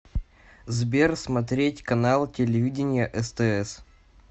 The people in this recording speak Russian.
сбер смотреть канал телевидения стс